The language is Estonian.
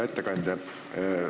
Hea ettekandja!